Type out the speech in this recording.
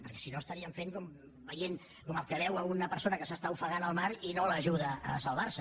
perquè si no estaríem fent com el que veu una persona que s’està ofegant al mar i no l’ajuda a salvar se